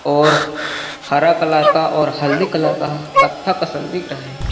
और हरा कलर का और हल्दी कलर का कत्था कसन दिख रहा हैं ।